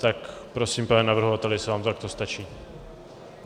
Tak, prosím, pane navrhovateli, jestli vám to takto stačí.